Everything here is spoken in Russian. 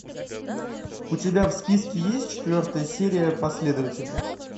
у тебя в списке есть четвертая серия последователи